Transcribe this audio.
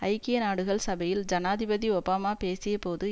ஐக்கிய நாடுகள் சபையில் ஜனாதிபதி ஒபாமா பேசிய போது